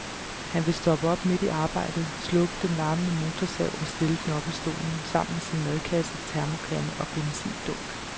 Han vil stoppe op midt i arbejdet, slukke den larmende motorsav og stille den op ad stolen, sammen med sin madkasse, termokande og benzindunk.